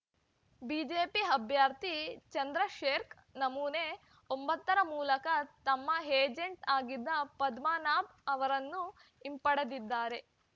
BJP ಅಭ್ಯರ್ಥಿ ಚಂದ್ರಶೇರ್ಖ್ ನಮೂನೆ ಒಂಬತ್ತು ರ ಮೂಲಕ ತಮ್ಮ ಏಜೆಂಚ್‌ ಆಗಿದ್ದ ಪದ್ಮನಾಭ್‌ ಅವರನ್ನು ಹಿಂಪಡೆದಿದ್ದಾರೆ